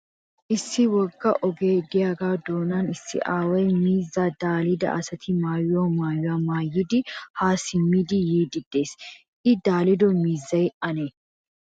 Issi wogga ogee diyagaa doonan issi aaway miizzaa daalida asati maayiyo maayuwa maayidi haa simmidi yiiddi des. I daalido miizzay ane?